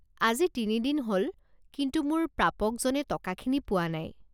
আজি তিনি দিন হ'ল, কিন্তু মোৰ প্ৰাপকজনে টকাখিনি পোৱা নাই।